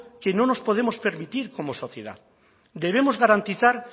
que no nos podemos permitir como sociedad debemos garantizar